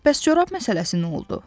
Bəs corab məsələsi nə oldu?